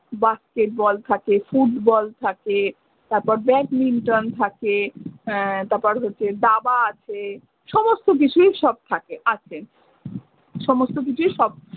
Basket ball থাকে football থাকে তারপর badminton থাকে উম তারপর হচ্ছে দাবা আছে। সমস্ত কিছুই সব থাকে, আছে। সমস্ত কিছুই সব